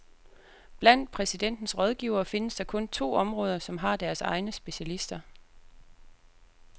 Blandt præsidentens rådgivere findes der kun to områder, som har deres egne specialister.